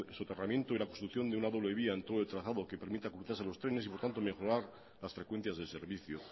soterramiento y la construcción de una doble vía en todo el trazado que permita cruzarse los trenes y por tanto mejorar las frecuencias del servicio